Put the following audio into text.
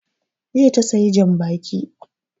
Jiya ta sayi jan baƙi